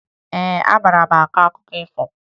Ee, amara m akụkọ ifo